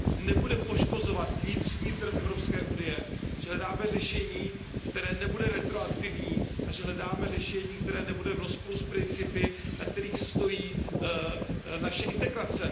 nebude poškozovat vnitřní trh Evropské unie, že hledáme řešení, které nebude retroaktivní, a že hledáme řešení, které nebude v rozporu s principy, na kterých stojí naše integrace.